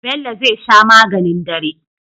Bello zai sha maganin dare